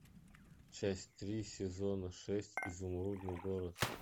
часть три сезона шесть изумрудный город